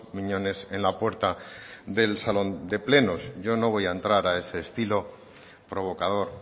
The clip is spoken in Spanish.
miñones en la puerta del salón de plenos yo no voy a entrar a ese estilo provocador